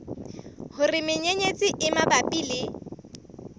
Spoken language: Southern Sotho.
hore menyenyetsi e mabapi le